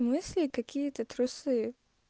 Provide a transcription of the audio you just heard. мысли какие-то трусы